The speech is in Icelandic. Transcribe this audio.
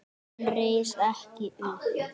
Hann reis ekki upp.